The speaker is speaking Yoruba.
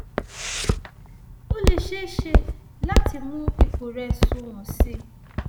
ó lè ṣeé ṣe láti mú ipò rẹ sunwọn sí i